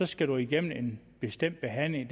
skal man igennem en bestemt behandling